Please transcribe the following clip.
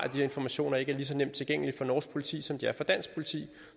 at de informationer ikke er lige så nemt tilgængelige for norsk politi som de er for dansk politi